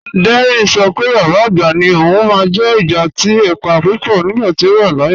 Dẹ́rìn ṣọ pé bàbá agbá ni ọ̀un máa n jẹ́ ìgbà àti èpà púpọ̀ nígbàtí ọ wà láàyè